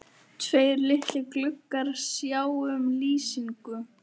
Tveir litlir gluggar sjá um lýsingu